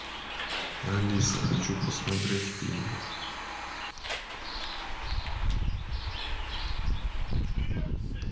алиса хочу посмотреть фильмы